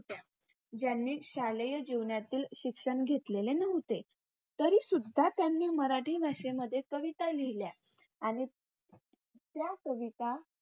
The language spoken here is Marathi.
ज्यांनी शालेय जीवनातील शिक्षण घेतलेले नव्हते. तरीसुद्धा त्यांनी मराठी भाषेमध्ये कविता लिहील्या. आणि त्या कविता